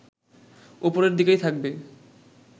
ওপরের দিকেই থাকবে